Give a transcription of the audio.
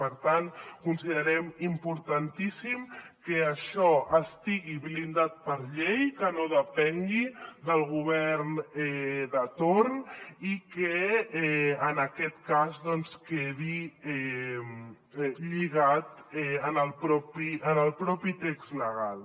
per tant considerem importantíssim que això estigui blindat per llei que no depengui del govern de torn i que en aquest cas quedi lligat en el propi text legal